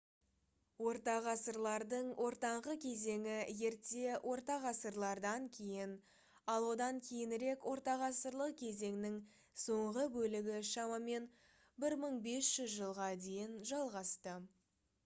ортағасырлардың ортаңғы кезеңі ерте орта ғасырлардан кейін ал одан кейінірек ортағасырлық кезеңнің соңғы бөлігі шамамен 1500 жылға дейін жалғасты